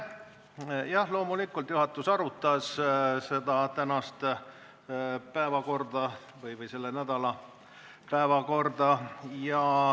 Jah, loomulikult arutas juhatus nii tänast päevakorda kui ka selle nädala päevakorda.